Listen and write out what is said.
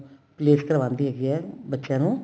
place ਕਰਵਾਂਦੀ ਹੈਗੀ ਏ ਬੱਚਿਆਂ ਨੂੰ